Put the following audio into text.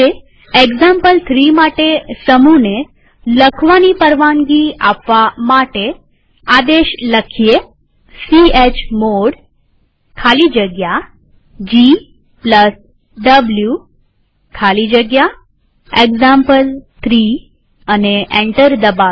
example three માટે સમૂહને write પરવાનગી આપવા આદેશ ચમોડ ખાલી જગ્યા gw ખાલી જગ્યા એક્ઝામ્પલ3 લખી એન્ટર દબાવીએ